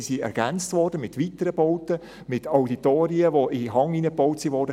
Diese sind ergänzt worden um weiteren Bauten, mit Auditorien, die in den Hang hineingebaut wurden.